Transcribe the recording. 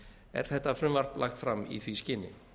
er þetta frumvarp lagt fram í því skyni